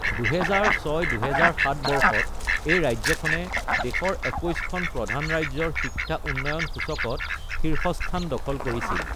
২০০৬-২০০৭ বৰ্ষত এই ৰাজ্যখনে দেশৰ ২১খন প্ৰধান ৰাজ্যৰ শিক্ষা উন্নয়ন সূচকত শীৰ্ষস্থান দখল কৰিছিল।